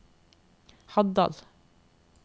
Haddal